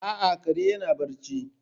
A'a, kare yana barci.